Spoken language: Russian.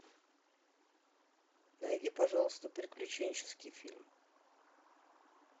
найди пожалуйста приключенческий фильм